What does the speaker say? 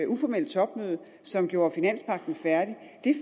uformelle topmøde som gjorde finanspagten færdig